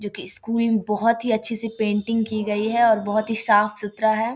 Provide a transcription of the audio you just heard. जो की स्कूल बहुत ही अच्छी से पेंटिंग की गई है और बहुत साफ़-सुथरा है।